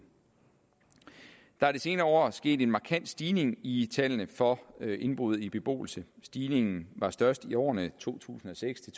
der er de senere år sket en markant stigning i tallene for indbrud i beboelse stigningen var størst i årene to tusind og seks